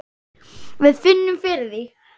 Við finnum fyrir því.